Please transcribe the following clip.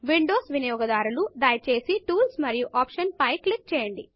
Windows వినియోగదారులు దయచేసి Toolsటూల్స్ మరియు ఆప్షన్స్ ఆప్షన్స్ పై క్లిక్ చేయండి